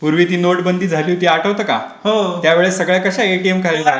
पूर्वी ती नोटबंदी झाली होती आठवते का? त्यावेळेस सगळ्या कसे एटीएम कार्ड